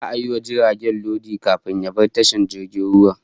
Za'a gama yi wa jirgin lodi, kafin ya bar tashar jirgin ruwan